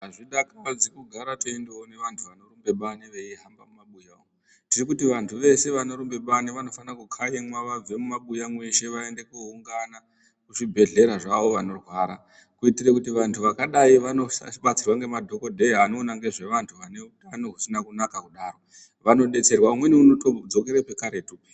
Azvidakadzi kuone vantu vanorumbe bani veindorumbe mumabuya umwu. Tirikuti vantu veshe vanorumbe bani vanofana kukaimwa vabve mumabuya mweshe vaende koungana kuzvibhehlera zvavo vanorwara kuti vantu vakadai vandobatsirwa nemadhokodheya anoona ngezve vantu vane utano usina kunaka kudaro. Vanodetserwa vanotodzokera pekaretu.